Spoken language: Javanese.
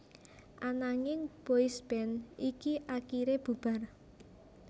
Ananging boysband iki akiré bubar